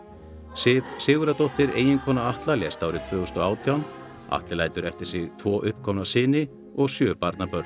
Sif Sigurðardóttir eiginkona Atla lést árið tvö þúsund og átján Atli lætur eftir sig tvo uppkomna syni og sjö barnabörn